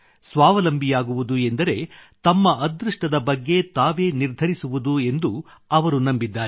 ಸ್ವಾವಲಂಬಿಯಾಗುವುದು ಎಂದರೆ ತಮ್ಮ ಅದೃಷ್ಟದ ಬಗ್ಗೆ ತಾವೇ ನಿರ್ಧರಿಸುವುದು ಎಂದು ಅವರು ನಂಬಿದ್ದಾರೆ